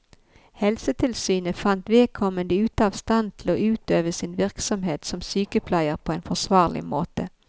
Helsetilsynet fant vedkommende ute av stand til å utøve sin virksomhet som sykepleier på en forsvarlig måte.